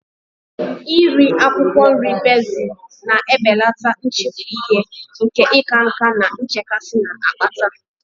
Iri akwụkwọ nri bezil na-ebelata nchefu ihe nke ịka nká na nchekasị na-akpata